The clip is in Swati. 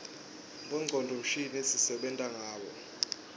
bongcondvo mshini sisebenta ngabo